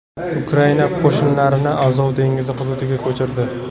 Ukraina qo‘shinlarini Azov dengizi hududiga ko‘chirdi.